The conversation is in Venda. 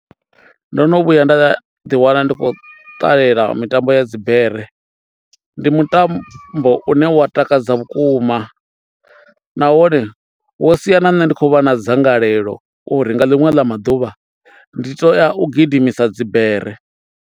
Ndo no vhuya nda ḓi wana ndi khou ṱalela mitambo ya dzibere. Ndi mutambo une wa takadza vhukuma nahone wo sia na nṋe ndi khou vha na dzangalelo uri nga ḽiṅwe ḽa maduvha ndi tea u gidimisa dzibere.